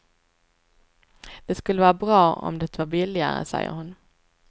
Det skulle vara bra om det var billigare, säger hon.